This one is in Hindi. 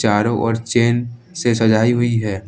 चारो ओर चेन से सजाई हुई है।